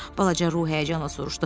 balaca ruh həyəcanla soruşdu.